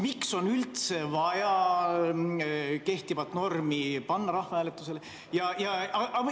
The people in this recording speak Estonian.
Miks on üldse vaja kehtivat normi rahvahääletusele panna?